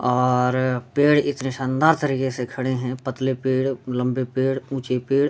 और पेड़ इतनी शानदार तरीके से खड़ा है पतले पेड़ लम्बे पेड़ उच्चे पेड़ --